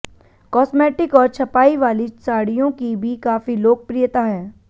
cosmetic और छपाई वाली साड़ियों की भी काफी लोकप्रियता है